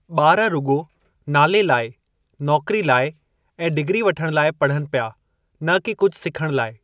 ॿार रुॻो नाले लाइ, नौकरी लाइ ऐं डिग्री वठण लाइ पढ़नि पिया न कि कुझु सिखण लाइ।